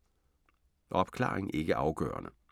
Opklaring ikke afgørende